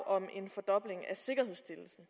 om en fordobling af sikkerhedsstillelsen